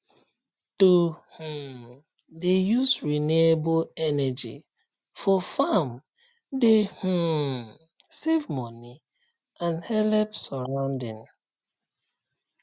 to um dey use renewable energy for farm dey um save money and help surrounding